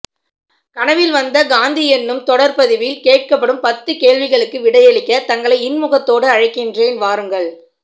கனவில் வந்த காந்தி எனும் தொடர் பதிவில் கேட்கப்படும் பத்து கேள்விகளுக்கு விடையளிக்க தங்களை இன்முகத்தோடு அழைக்கிறேன் வாருங்கள்